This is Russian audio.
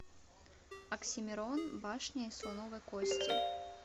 оксимирон башня из слоновой кости